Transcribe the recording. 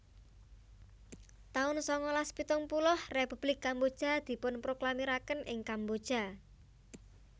taun sangalas pitung puluh Republik Kamboja dipunproklamiraken ing Kamboja